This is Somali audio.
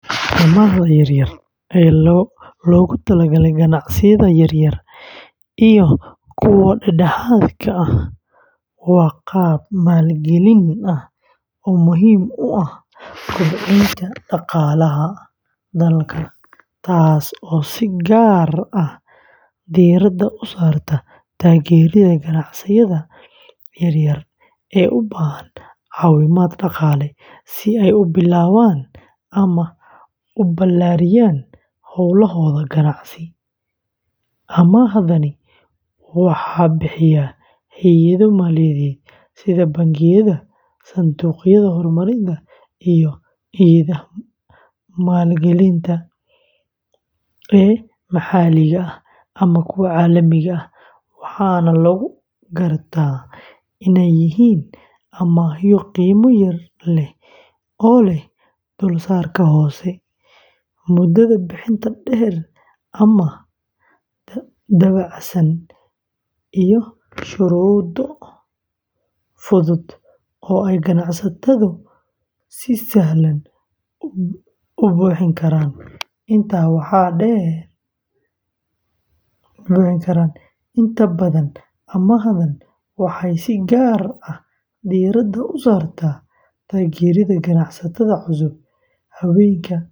Amaahda yar-yar ee loogu talagalay ganacsiyada yaryar iyo kuwa dhexdhexaadka ah waa qaab maalgelin ah oo muhiim u ah kobcinta dhaqaalaha dalka, taas oo si gaar ah diiradda u saarta taageerida ganacsiyada yaryar ee u baahan caawimaad dhaqaale si ay u bilaabaan ama u ballaariyaan hawlahooda ganacsi; amaahdani waxaa bixiya hay’ado maaliyadeed sida bangiyada, sanduuqyada horumarinta, iyo hay’adaha maalgelinta ee maxalliga ah ama kuwa caalamiga ah, waxaana lagu gartaa inay yihiin amaahyo qiimo yar leh oo leh dulsaarka hoose, muddada bixinta dheer ama dabacsan, iyo shuruudo fudud oo ay ganacsatadu si sahlan u buuxin karaan; inta badan, amaahdan waxay si gaar ah diiradda u saartaa taageerida ganacsatada cusub, haweenka ganacsatada ah.